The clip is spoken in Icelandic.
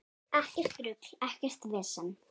Ekkert rugl, ekkert vesen.